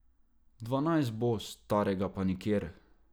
Dvanajst bo, starega pa nikjer!